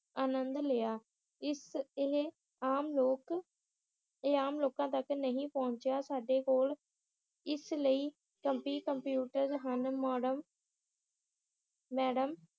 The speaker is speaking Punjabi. ਆਨੰਦ ਲਿਆ ਇਸ ਇਹ ਆਮ ਲੋਕ ਇਹ ਆਮ ਲੋਕਾਂ ਤੱਕ ਨਹੀ ਪਹੁੰਚਿਆ ਸਾਡੇ ਕੋਲ ਇਸ ਲਈ ਹਨ ਮੈਡਮ